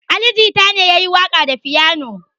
Ali Jita ne ya yi waƙa da fiyano.